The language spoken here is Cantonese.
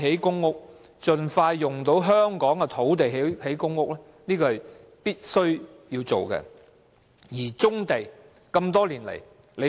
因此，盡快利用香港的土地興建公屋，是現時必須做的工作。